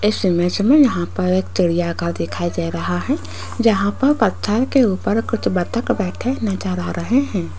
इस इमेज में यहां पर एक चिड़िया का दिखाई दे रहा है जहां पर पत्थर के ऊपर कुछ बत्तख बैठे नजर आ रहे हैं।